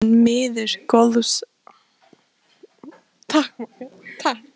Þar naut hún miður góðs atlætis.